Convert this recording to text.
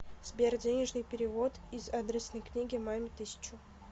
сбер денежный перевод из адресной книги маме тысячу